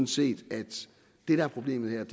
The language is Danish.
set at det der er problemet